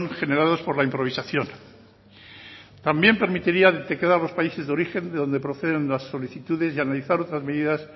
generados por la improvisación también permitiría a los países de origen de donde proceden las solicitudes y analizar otras medidas